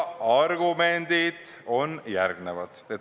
Argumendid on järgmised.